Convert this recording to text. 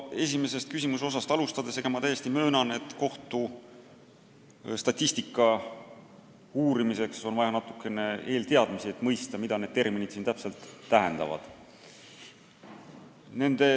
Esimesest küsimuse osast alustades ma möönan, et kohtustatistika uurimiseks on vaja natukene eelteadmisi, et mõista, mida need terminid siin täpselt kajastavad.